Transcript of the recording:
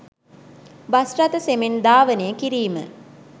bus රථ සෙමෙන් ධාවනය කිරීම